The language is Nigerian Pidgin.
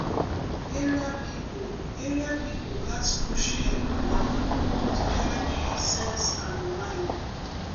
area people area people gats push head palava to helep sense and mind.